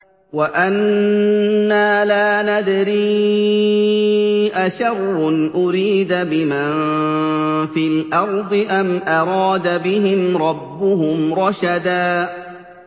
وَأَنَّا لَا نَدْرِي أَشَرٌّ أُرِيدَ بِمَن فِي الْأَرْضِ أَمْ أَرَادَ بِهِمْ رَبُّهُمْ رَشَدًا